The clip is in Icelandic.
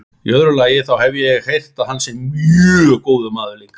Í öðru lagi, þá hef ég heyrt að hann sé mjög góður maður líka.